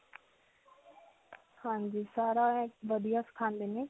ਹਾਂਜੀ. ਸਾਰਾ ਵਧੀਆ ਸਿਖਾਉਂਦੇ ਨੇ.